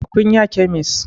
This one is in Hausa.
A Kunya kyamis